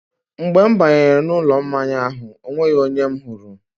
Mgbe m banyere n'ụlọ mmanya ahụ, ọ nweghị onye m hụrụ..